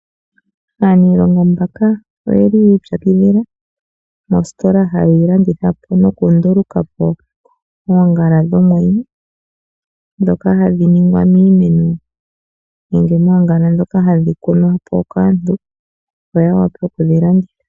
Aaniilonga oyeli yii pyakidhila mositola hayi landitha noku ndulukapo oongala dhomwenyo, dhoka hadhi ningwa miimeno, nenge moongala dhoka hadhi kunwapo kaantu, opo ya vule okudhi landitha.